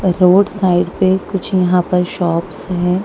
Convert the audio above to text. Road side पे कुछ यहां पर शॉप्स हैं।